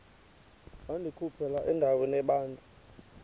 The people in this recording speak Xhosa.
wandikhuphela endaweni ebanzi